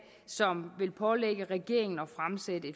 som vil pålægge regeringen at fremsætte